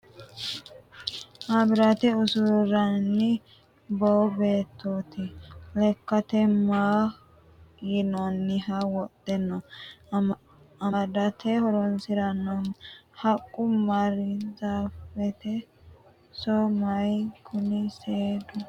Maabiraate usuranni boo beettooti ? Lekkate maati yinanniho wodhe noohu amadate horoonsi'nannihu ? Haqqu baarzaafete so maati Kuni seedu biifadu ?